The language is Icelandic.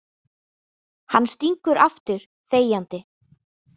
Hann stingur aftur, þegjandi.